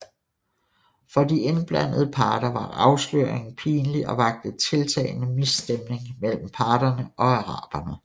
For de indblandede parter var afsløringen pinlig og vakte tiltagende misstemning mellem parterne og araberne